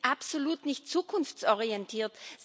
Die sind absolut nicht zukunftsorientiert.